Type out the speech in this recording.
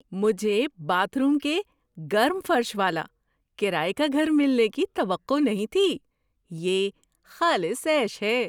مجھے bathroom کے گرم فرش والا کرایے کا گھر ملنے کی توقع نہیں تھی – یہ خالص عیش ہے!